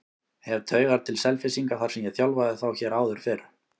Hef taugar til Selfyssinga þar sem ég þjálfaði þá hér áður fyrr.